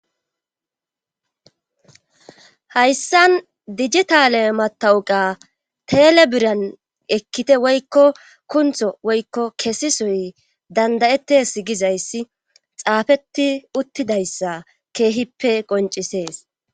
Hayssan dijitale matawuqa telebiran ekkite woykko kuntho woykko kesisoy dandayettes gizayssi xaafeti uttidayssa keehippe qoncisees.